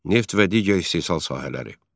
Neft və digər istehsal sahələri.